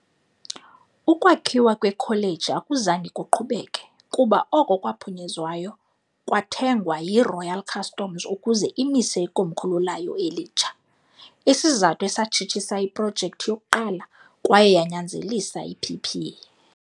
Ukwakhiwa kweKholeji akuzange kuqhubeke, kuba oko kwaphunyezwayo kwathengwa yiRoyal Customs ukuze imise ikomkhulu layo elitsha- isizathu esatshitshisa iprojekthi yokuqala kwaye yanyanzelisa iPP.